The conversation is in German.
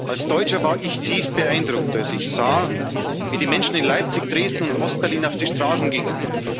Als Deutscher war ich tief beeindruckt, als ich sah, wie die Menschen in Leipzig, Dresden und Ostberlin auf die Straßen gingen.